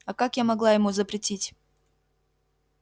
а как я могла ему запретить